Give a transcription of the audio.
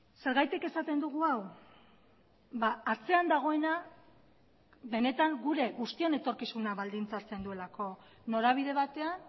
zergatik esaten dugu hau atzean dagoena benetan gure guztion etorkizuna baldintzatzen duelako norabide batean